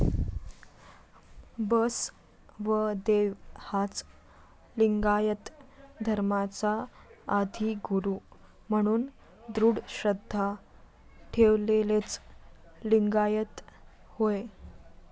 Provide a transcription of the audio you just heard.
बसवदेव हाच लिंगायत धर्माचा आदिगुरू म्हणून दृढ श्रद्धा ठेवलेलेच लिंगायत होय.